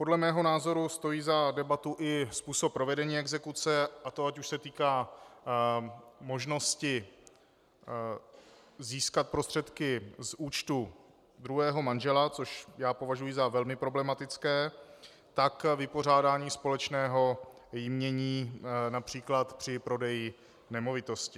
Podle mého názoru stojí za debatu i způsob provedení exekuce, a to ať už se týká možnosti získat prostředky z účtu druhého manžela, což já považuji za velmi problematické, tak vypořádání společného jmění například při prodeji nemovitosti.